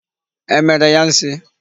E mere ya nsi?